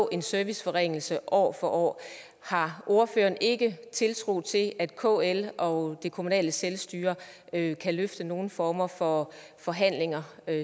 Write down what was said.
en serviceforringelse år for år har ordføreren ikke tiltro til at kl og det kommunale selvstyre kan kan løfte nogen former for forhandlinger